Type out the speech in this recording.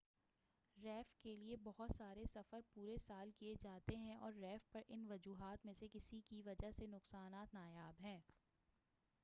reef کے لئے بہت سارے سفر پورے سال کیے جاتے ہیں اور ریف پر ان وجوہات میں سے کسی کی وجہ سے نقصانات نایاب ہیں